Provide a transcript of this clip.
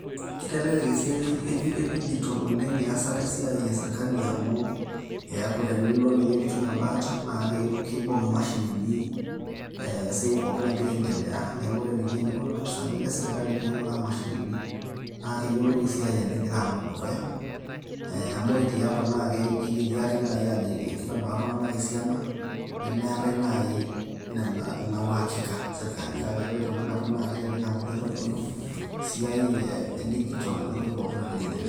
Kitelelek esiai e dijital oleng' iasat esiai e sirkali amu eeku tenilo ninye piitum embaata, naake kibung' imashinini esiai pooki nagira aindelea neeku eneponu ilopisaani le sirkali piing'uraa imashinini, naa keyolou esiai ajo egira alo dukuya amu kore tiapa naake igeri ake ajo kitabaa iltung'anak esiana nmeetai nai ina uhakika sirkali kake ore tenakata naa kelelek amu kitodolu esiai e dijital entoki pooki nagira aiendelea.